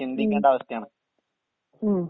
ഉം ഉം